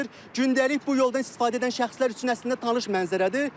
Gündəlik bu yoldan istifadə edən şəxslər üçün əslində tanış mənzərədir.